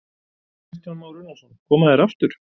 Kristján Már Unnarsson: Koma þeir aftur?